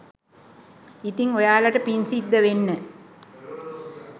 ඉතිං ඔයාලට පිං සිද්ධ වෙන්න